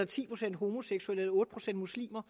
ti procent homoseksuelle eller otte procent muslimer